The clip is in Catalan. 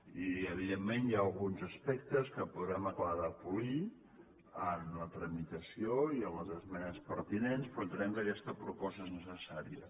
i evidentment hi ha alguns aspectes que podrem acabar de polir en la tramitació i en les esmenes pertinents però entenem que aquesta proposta és necessària